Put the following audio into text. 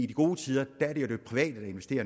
i gode tider